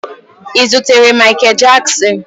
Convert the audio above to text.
Ị zutere Mikel Jaksin?